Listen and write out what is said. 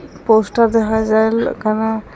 Poster দেখা যাইল একানে ।